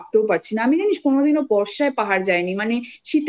ভাবতেও পারছি না আমি জানিস কোনদিনও বর্ষায় পাহাড়